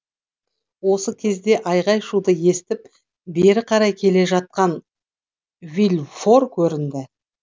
осы кезде айғай шуды естіп бері қарай келе жатқан вильфор көрінді